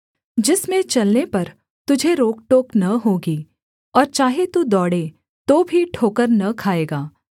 जिसमें चलने पर तुझे रोक टोक न होगी और चाहे तू दौड़े तो भी ठोकर न खाएगा